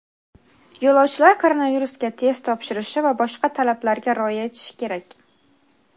Yo‘lovchilar koronavirusga test topshirishi va boshqa talablarga rioya etishi kerak.